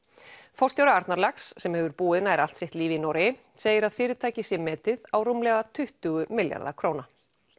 forstjóri Arnarlax sem hefur búið nær allt sitt líf í Noregi segir að fyrirtækið sé metið á rúmlega tuttugu milljarða króna